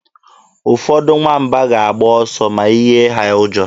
Ụfọdụ nwamba ga-agba ọsọ ma ị yie ha ụjọ.